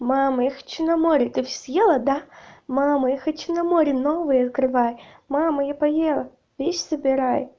мама я хочу на море ты съела да мама я хочу на море новые открывай мама я поела вещи собирай